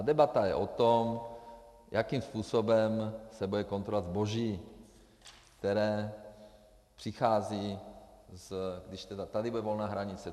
A debata je o tom, jakým způsobem se bude kontrolovat zboží, které přichází, když tedy tady bude volná hranice.